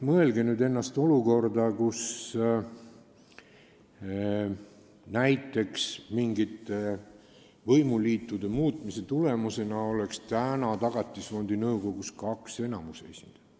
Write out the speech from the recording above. Mõelge nüüd olukorrale, kus näiteks mingite võimuliitude muutumise tulemusena oleks Tagatisfondi nõukogus kaks enamuse esindajat.